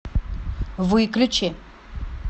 выключи